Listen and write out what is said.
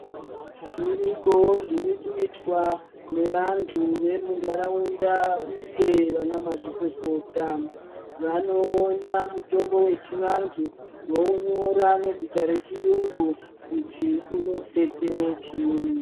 Zvirikowo zviri kuitwa ne vantu vemu ndaraunda uye vana ma zvikokota vano ona mutombo wechi vantu vo unyora nezita re chiyungu kuti uno detsere chinyi.